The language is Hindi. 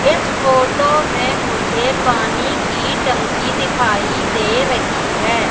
इस फोटो मे मुझे पानी की टंकी दिखाई दे रही है।